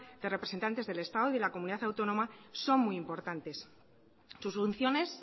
de representantes del estado y de la comunidad autónoma son muy importantes sus funciones